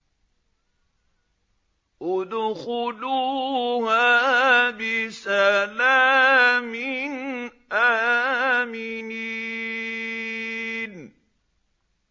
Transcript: ادْخُلُوهَا بِسَلَامٍ آمِنِينَ